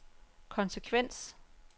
konsekvens